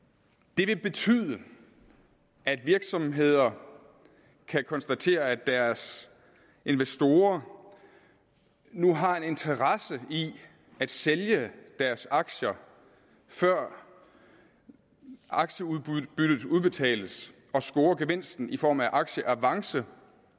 det vil betyde at virksomheder kan konstatere at deres investorer nu har en interesse i at sælge deres aktier før aktieudbyttet udbetales og score gevinsten i form af aktieavance